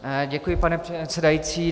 Děkuji, pane předsedající.